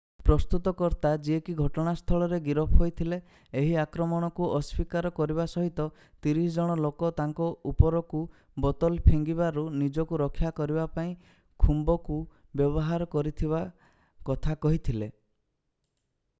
ପ୍ରସ୍ତୁତକର୍ତ୍ତା ଯିଏ କି ଘଟଣାସ୍ଥଳରେ ଗିରଫ ହୋଇଥିଲେ ଏହି ଆକ୍ରମଣକୁ ଅସ୍ଵୀକାର କରିବା ସହିତ 30 ଜଣ ଲୋକ ତାଙ୍କ ଉପରକୁ ବୋତଲ ଫିଙ୍ଗିବାରୁ ନିଜକୁ ରକ୍ଷା କରିବା ପାଇଁ ଖୁମ୍ବ କୁ ବ୍ୟବହାର କରିଥିବା କଥା କହିଥିଲେ